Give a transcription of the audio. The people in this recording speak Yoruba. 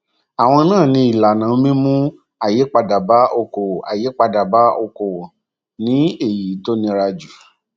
àwọn náà ni ìlànà mímú àyípadà bá òkòòwò àyípadà bá òkòòwò ni èyí tó nira jù